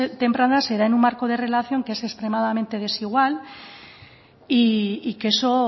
temprana se da en un marco de relación que es extremadamente desigual y que eso